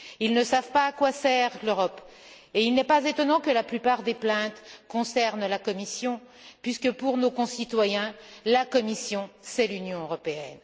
Ils ne savent pas à quoi sert l'Europe et il n'est pas étonnant que la plupart des plaintes concernent la Commission, puisque, pour nos concitoyens, la Commission c'est l'Union européenne.